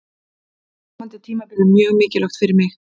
Komandi tímabil er mjög mikilvægt fyrir mig.